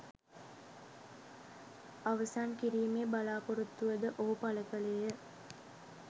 අවසන් කිරීමේ බලාපොරොත්තුව ද ඔහු පළ කළේය.